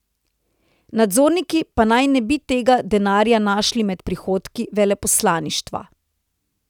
Nadzorniki pa naj ne bi tega denarja našli med prihodki veleposlaništva.